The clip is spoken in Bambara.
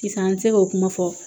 Sisan an bɛ se k'o kuma fɔ